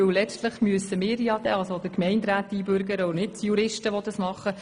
Letztlich müssen die Gemeinderäte einbürgern und nicht die Juristen.